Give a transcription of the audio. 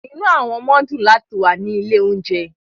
Inú àwọn ọmọ dùn láti wà ní ilé-oúnjẹ.